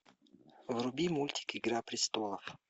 вруби мультик игра престолов